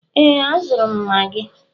Ee, azụrụ m Magi.